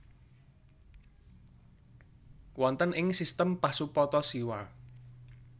Wonten ing sistem Pasupata siwa